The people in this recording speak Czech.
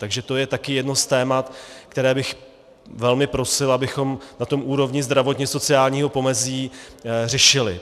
Takže to je také jedno z témat, které bych velmi prosil, abychom na té úrovni zdravotně-sociálního pomezí řešili.